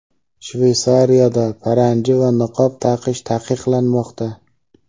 Shveysariyada paranji va niqob taqish taqiqlanmoqda.